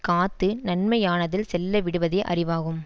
காத்து நன்மையானதில் செல்லவிடுவதே அறிவாகும்